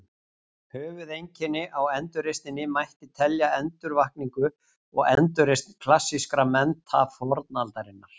Höfuðeinkenni á endurreisninni mætti telja endurvakningu og endurreisn klassískra mennta fornaldarinnar.